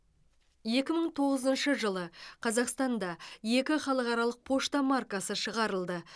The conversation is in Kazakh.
екі мың тоғызыншы жылы қазақстанда екі халықаралық пошта маркасы шығарылды